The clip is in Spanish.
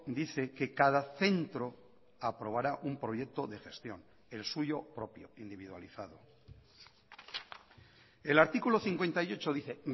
dice que cada centro aprobará un proyecto de gestión el suyo propio individualizado el artículo cincuenta y ocho dice